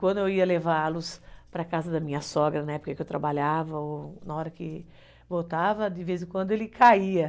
Quando eu ia levá-los para a casa da minha sogra, na época em que eu trabalhava, ou na hora em que voltava, de vez em quando ele caía.